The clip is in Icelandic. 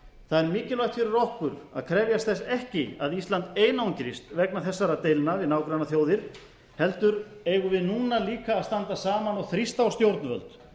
það er mikilvægt fyrir okkur að krefjast þess ekki að ísland einangrist vegna þessara deilna við nágrannaþjóðir heldur eigum við núna líka að standa saman og þrýst á stjórnvöld